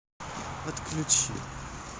отключи